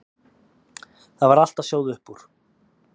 Það var allt að sjóða upp úr.